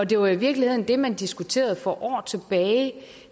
det var i virkeligheden det man diskuterede for år tilbage